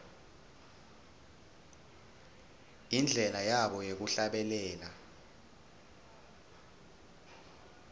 indlela yabo yekuhlabelela